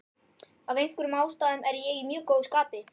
Af einhverjum ástæðum er ég í mjög góðu skapi.